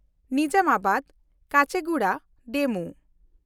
ᱱᱤᱡᱟᱢᱟᱵᱟᱫ–ᱠᱟᱪᱤᱜᱩᱰᱟ DEMU